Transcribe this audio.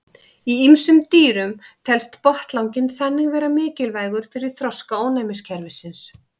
Í ýmsum dýrum telst botnlanginn þannig vera mikilvægur fyrir þroska ónæmiskerfisins.